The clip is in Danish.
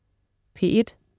P1: